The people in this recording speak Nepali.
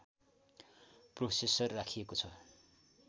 प्रोसेसर राखिएको छ